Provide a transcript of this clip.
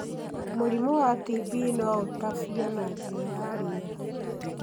Mũrimũ wa TB no ũtambio na njĩra ya riera.